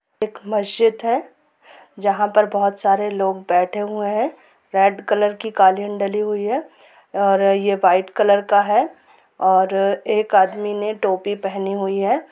यहां एक मस्जिद है जो बहुत सारे लोग बैठे हुए हैं रेड कलर का कालीन डाली हुई है और व्हाइट कलर का हैऔर एक आदमी टोपी पहनी हुई हैं।